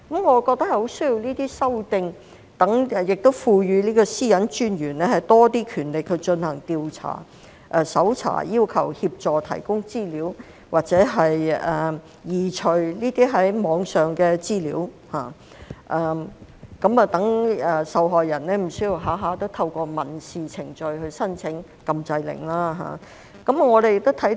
我覺得很需要作出這些修訂，亦要賦予私隱專員更多權力進行調查、搜查、要求協助或提供資料，或移除這些網上資料，讓受害人無須動輒要透過民事程序申請禁制令。